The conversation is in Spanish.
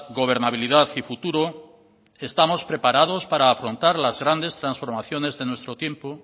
gobernabilidad y futuro estamos preparados para afrontar las grandes transformaciones de nuestro tiempo